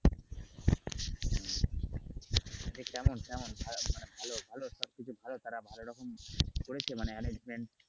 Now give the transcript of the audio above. তো কেমন কেমন মানে ভালো ভালো খারাপ কিছু করে arrangement